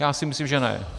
Já si myslím že ne.